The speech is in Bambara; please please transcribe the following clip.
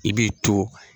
I b'i to